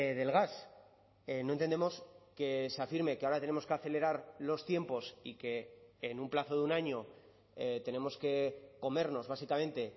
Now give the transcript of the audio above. del gas no entendemos que se afirme que ahora tenemos que acelerar los tiempos y que en un plazo de un año tenemos que comernos básicamente